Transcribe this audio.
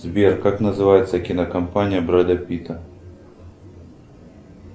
сбер как называется кинокомпания бреда питта